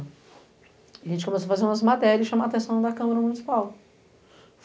A gente começou a fazer umas materias e chamar a atenção da Câmara Municipal.